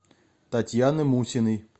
татьяны мусиной